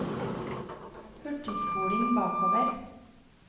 hurtigspoling bakover